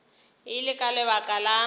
e le ka lebaka la